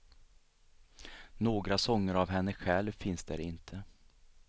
Några sånger av henne själv finns där inte.